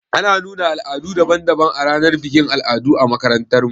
Ana nuna al'adu daban daban a ranar bikin al'adu a makarantar mu